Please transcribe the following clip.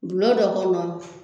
Bulon dɔ kɔnɔ